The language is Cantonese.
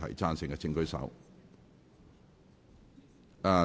贊成的請舉手。